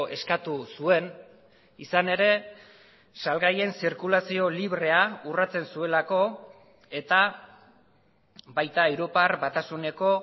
eskatu zuen izan ere salgaien zirkulazio librea urratzen zuelako eta baita europar batasuneko